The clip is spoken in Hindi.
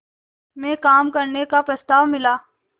में काम करने का प्रस्ताव मिला